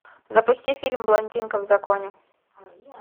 запусти фильм блондинка в законе